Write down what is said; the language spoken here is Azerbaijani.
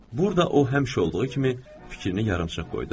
burda o həmişə olduğu kimi fikrini yarımçıq qoydu.